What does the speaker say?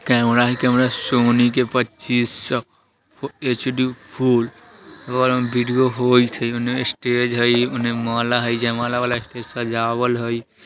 कैमरा हई camera Sony के पचीश सौ एच.डी. फुल वाला वीडियो होइत हई ओने स्टेज हई ओने माला हई | जयमाला वाला स्टेज सजावल हई |